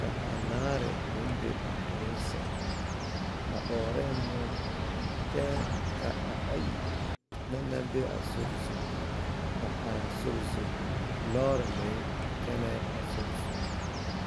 ka anaare meŋ be a duluŋ sɛŋ a ɔɔrɛɛ muo kyɛ ka ayi na naŋ be a sori a are a sori zu lɔɔre meŋ kyɛnɛɛ a sori zu.